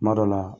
Kuma dɔ la